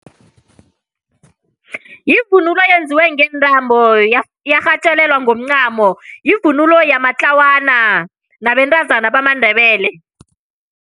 Yivunulo eyenziwe ngentambo yarhatjelelwa ngomncamo. Yivunulo yamatlawana nabentazana bamaNdebele